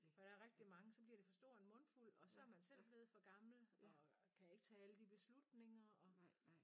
For der er rigtig mange så bliver det for stor en mundfuld og så er man selv blevet for gammel og kan ikke tage alle de beslutninger og